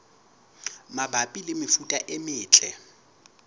mabapi le mefuta e metle